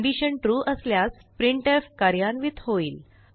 condition trueअसल्यास printf कार्यान्वित होईल